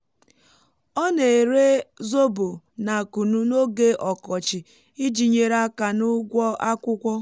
ọ na-ere zobo na kunu n’oge ọkọchi iji nyere aka n’ụgwọ akwụkwọ